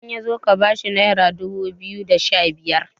idan ya zo ka bashi naira dubu biyu da Sha biyar